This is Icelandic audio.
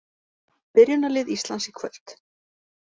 Byrjunarlið Íslands í kvöld